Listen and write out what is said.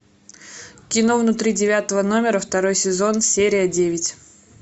кино внутри девятого номера второй сезон серия девять